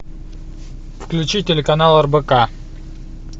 включи телеканал рбк